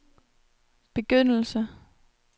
begyndelse